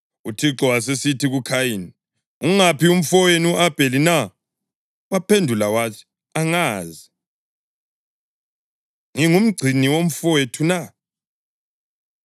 UThixo wasesithi kuKhayini, “Ungaphi umfowenu u-Abheli na?” Waphendula wathi, “Angazi. Ngingumgcini womfowethu na?”